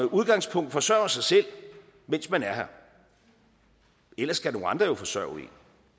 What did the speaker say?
udgangspunkt forsørger sig selv mens man er her ellers skal nogle andre jo forsørge en